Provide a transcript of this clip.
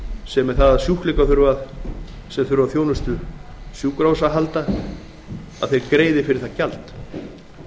sem er það að sjúklingar sem þurfa á þjónustu sjúkrahúsa að halda greiði fyrir það gjald